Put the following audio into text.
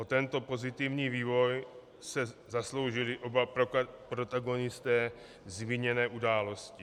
O tento pozitivní vývoj se zasloužili oba protagonisté zmíněné události.